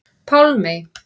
Pálmey